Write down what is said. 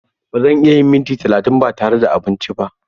Ba zai iya yin minti talatin ba tare da cin abinci ba.